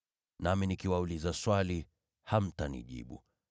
Nami nikiwauliza swali, hamtanijibu.